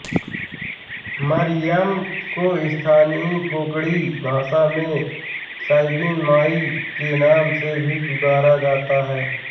मरियम को स्थानीय कोंकणी भाषा में साइबिन माई के नाम से भी पुकारा जाता है